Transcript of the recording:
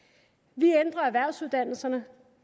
vi ændrer erhvervsuddannelserne